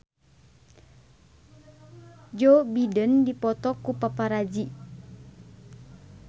Joe Biden dipoto ku paparazi